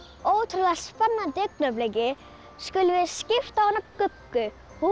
ótrúlega spennandi augnabliki skulum við skipta á hana Guggu hún